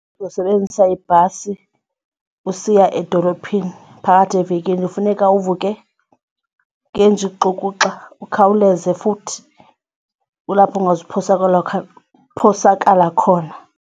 Uzosebenzisa ibhasi usiya edolophini phakathi evekini funeka uvuke ngenja ixukuxa ukhawuleze futhi kulapho ungazuphosakala khona.